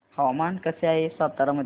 हवामान कसे आहे सातारा मध्ये